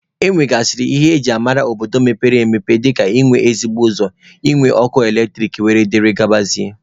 E nwegasịrị ihe eji mara obodo mepere emepe dịka ị nwe ezigbo ụzọ, ị nwe ọkụ eletrik wdg.